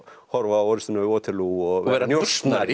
horfa á orrustuna við Waterloo og vera njósnari